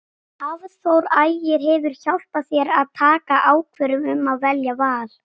Hafþór Ægir hefur hjálpað þér að taka ákvörðun um að velja Val?